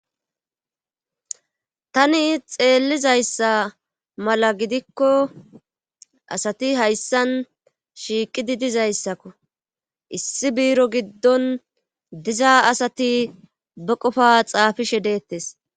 Tani xeellizayssa mala gidikko asati hayssan shiiqidi dizayssakko issi biiro giddon dizaa asati ba qofa xaafishe beettes.